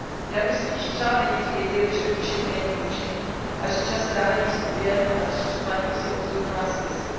Já bych si totiž přála žít v Evropě, kde by mé děti věděly, že učení není mučení a že čas strávený studiem a rozšiřováním si obzorů má smysl.